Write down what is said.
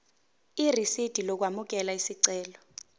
irisidi lokwamukela isicelo